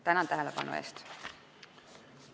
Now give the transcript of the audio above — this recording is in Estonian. Tänan tähelepanu eest!